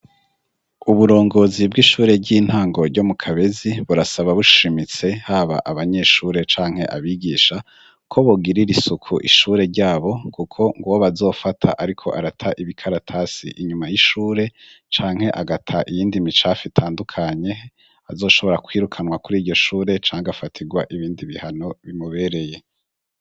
Uburongozi bw'ishure ry'intango ryo mu kabezi burasaba bushimitse haba abanyeshure canke abigisha ko bugirira isuku ishure ryabo kuko ngo ba azofata ariko arata ibikaratasi inyuma y'ishure canke agata iyindi micafi itandukanye azoshobora kwirukanwa kuri iyo shure canga afatigwa ibindi bihano bimubereye.